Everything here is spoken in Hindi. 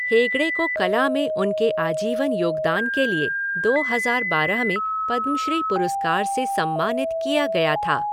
हेगड़े को कला में उनके आजीवन योगदान के लिए दो हज़ार बारह में पद्मश्री पुरस्कार से सम्मानित किया गया था।